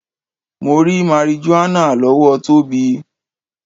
Mo rí marijuana lọ́wọ́ Tóbi.